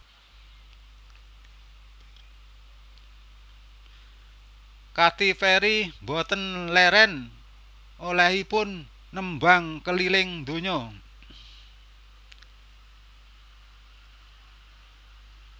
Katy Perry mboten leren olehipun nembang keliling donya